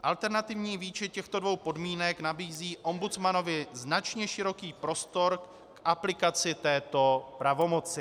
Alternativní výčet těchto dvou podmínek nabízí ombudsmanovi značně široký prostor k aplikaci této pravomoci.